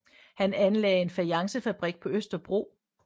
Han anlagde en fajancefabrik på Østerbro